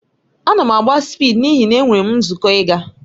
Ana m agba spịdi n'ihi na enwere m nzukọ ịga